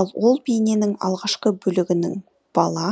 ал ол бейненің алғашқы бөлігінің бала